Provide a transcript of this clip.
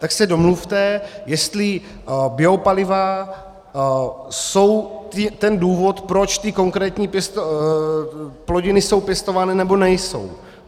Tak se domluvte, jestli biopaliva jsou ten důvod, proč ty konkrétní plodiny jsou pěstovány, nebo nejsou.